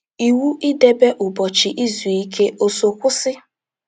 Iwu idebe Ụbọchị Izu Ike ò so kwụsị?